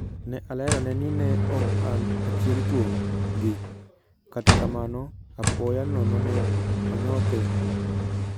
Ne alerone ni ne ok an achiel kuom "gi", kata kamano, apoya nono ne onyothe